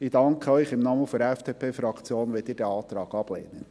Ich danke Ihnen im Namen der FDP-Fraktion, wenn Sie diesen Antrag ablehnen.